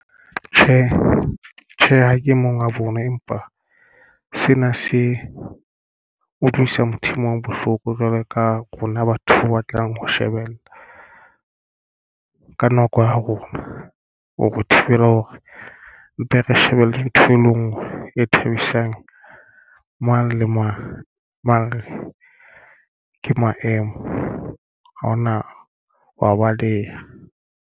Tjhe, Tjhe, ha ke e mong wa bona empa sena se utlwisa motho e mong bohloko. Jwalo ka rona batho ba batlang ho shebella ka nako ya rona o thibela hore mpe re shebelle ntho e le ngwe e thabisang mang le mang re ke maemo ha ona ho a baleha.